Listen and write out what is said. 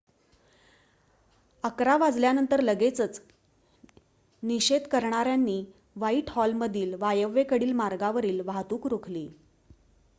11:00 वाजल्यानंतर लगेचच निषेध करणाऱ्यांनी व्हाईटहॉलमधील वायव्येकडील मार्गावरील वाहतूक रोखली